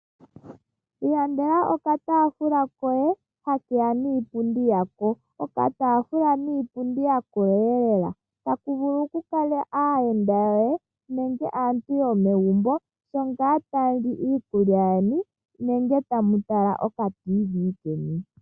Ilandela okataafula koye ha keya niipundi yako. Okataafula niipundi ya koleelela, taku vulu ku kala aayenda yoye nenge aantu yomegumbo shongaa tamu li iikulya yeni nenge tamu tala oka tiivi keni.